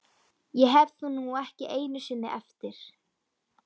Ég hef það nú ekki einu sinni eftir